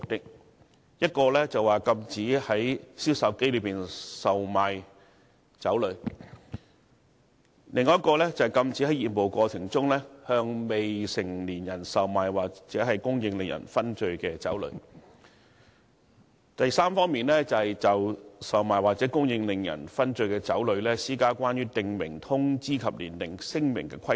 第一，禁止以銷售機售賣令人醺醉的酒類；第二，禁止在業務過程中，向未成年人售賣或供應令人醺醉的酒類；以及第三，就售賣或者供應令人醺醉的酒類，施加關於訂明通知及年齡聲明的規定。